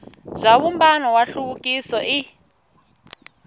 bya vumbano wa nhluvukiso i